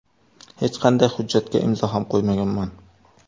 Hech qanday hujjatga imzo ham qo‘ymaganman.